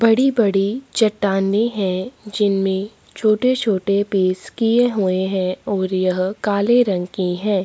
बड़ी-बड़ी चट्टाने हैं जिनमे छोटे-छोटे पीस किये हुये हैं और यह काले रंग की हैं।